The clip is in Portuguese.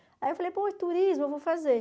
Aí eu falei, pô, turismo eu vou fazer.